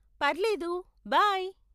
పర్లేదు, బై.